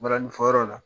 Balani fɔyɔrɔ la